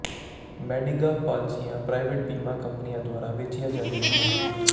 Medigap ਪਾਲਿਸੀਆਂ private ਬੀਮਾ ਕੰਪਨੀਆਂ ਦੁਆਰਾ ਵੇਚੀਆਂ ਜਾਂਦੀਆਂ ਹਨ